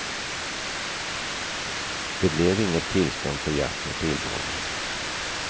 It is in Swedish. Det blev inget tillstånd för jakt med pilbåge.